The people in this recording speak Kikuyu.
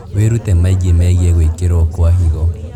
Wĩrute maingĩ megiĩ gwĩkĩrwo kwa higo